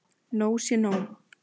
Nóg sé nóg!